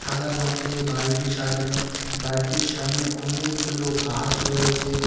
সাদা রং দিয়ে বাড়িটি সাজানো বাড়িটির সামনে অনেকগুলো গাছ রয়েছে।